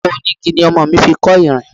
Ọkọ̀ onígi ni ọmọ mi fi kọ́ ìrìn.